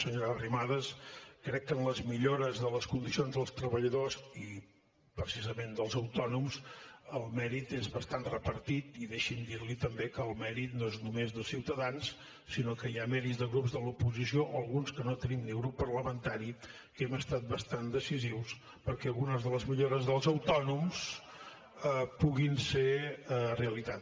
senyora arrimadas crec que en les millores de les condicions dels treballadors i precisament dels autònoms el mèrit és bastant repartit i deixi’m dir li també que el mèrit no és només de ciutadans sinó que hi ha mèrits de grups de l’oposició o d’alguns que no tenim ni grup parlamentari que hem estat bastant decisius perquè algunes de les millores dels autònoms puguin ser realitat